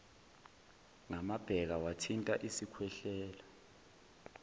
ngamabheka wathinta isikhwehlela